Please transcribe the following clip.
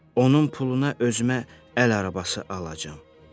Onun puluna özümə əl arabası alacağam.